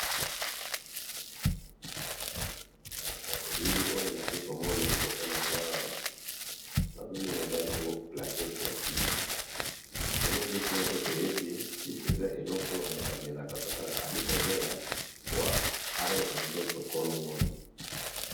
Na elili oyo nazali liboso na ngai awa nazomona eza bongo plaquette ya kisi .ndenge biso nionso toyebi kisi eza eloko oyo moto amelaka soki azali kobela po azoyoka nzoto kolongono